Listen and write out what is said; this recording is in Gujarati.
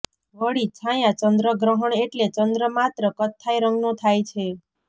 વળી છાયા ચંદ્રગ્રહણ એટલે ચંદ્ર માત્ર કથ્થાઈ રંગનો થાય છે